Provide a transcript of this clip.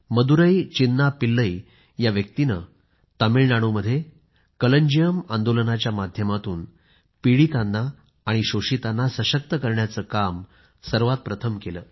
मदुरै चिन्ना पिल्लई या व्यक्तिने तामिळनाडूमध्ये कलन्जियम आंदोलनाच्या माध्यमातून पीडितांना आणि शोषितांना सशक्त करण्याचं काम सर्वात प्रथम केलं